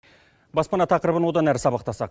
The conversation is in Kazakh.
баспана тақырыбын одан әрі сабақтасақ